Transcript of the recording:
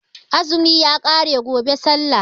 Azumi ya ƙare gobe sallah